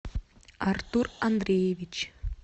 артур андреевич